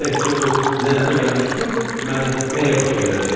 Təkcə bu lənətə gəlmiş toy mənə nəyə başa gələcək?